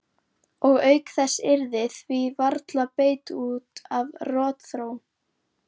Og auk þess yrði því varla beitt út af rotþró.